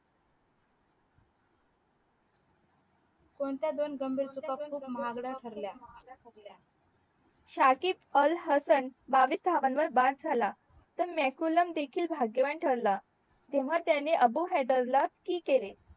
कोणत्या दोन गंभीर चुका खूप महागड्या ठरल्या शाकिब अल हसन बावीस धावन वर बाद झाला तर मॅकुलॅम देखील भाग्यवान ठरला जेव्हा त्याने अबू हैदर ला केले